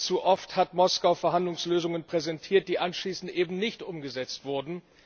Zu oft hat Moskau Verhandlungslösungen präsentiert, die anschließend eben nicht umgesetzt wurden.